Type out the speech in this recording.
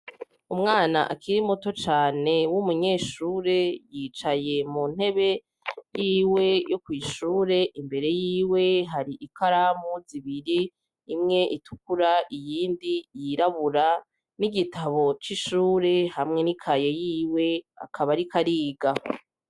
Umwana akiri muto cane w'umunyeshure yicaye mu ntebe yiwe yo kw'ishure imbere yiwe hari ikaramu zibiri imwe itukura iyindi yirabura n'igitabo c'ishure hamwe n'i kaye yiwe akaba arikoariga.